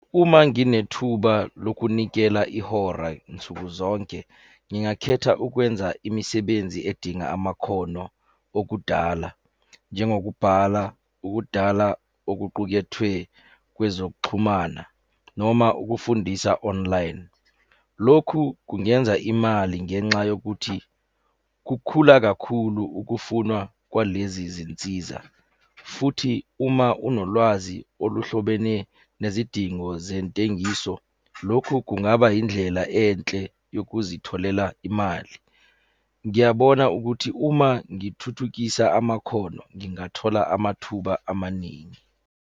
Uma nginethuba lokunikela ihora nsuku zonke, ngingakhetha ukwenza imisebenzi edinga amakhono okudala. Njengokubhala, ukudala okuqukethwe kwezokuxhumana, noma ukufundisa online. Lokhu kungenza imali ngenxa yokuthi kukhula kakhulu ukufunwa kwalezi zinsiza, futhi uma unolwazi oluhlobene nezidingo zentengiso, lokhu kungaba yindlela enhle yokuzitholela imali. Ngiyabona ukuthi uma ngithuthukisa amakhono ngingathola amathuba amaningi.